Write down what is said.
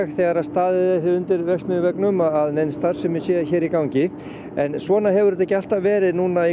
þegar staðið er hér undir verksmiðjuveggnum að nein starfsemi sé hér í gangi en svona hefur þetta ekki alltaf verið núna í